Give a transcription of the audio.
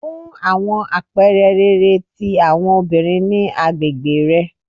Fun awọn apẹẹrẹ rere ti awọn obinrin ni agbegbe rẹ